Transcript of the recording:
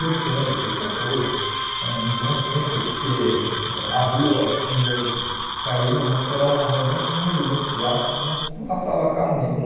Gritando por socorro, ãh um bom tempo, porque a rua onde eu caí né nossa era uma rua bem residencial, não não passava carro nenhum.